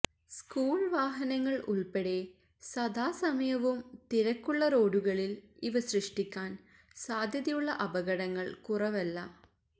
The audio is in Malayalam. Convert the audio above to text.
സ്കൂള് വാഹനങ്ങള് ഉള്പ്പെടെ സദാസമയവും തിരക്കുള്ള റോഡുകളില് ഇവ സൃഷ്ടിക്കാന് സാധ്യതയുള്ള അപകടങ്ങള് കുറവല്ല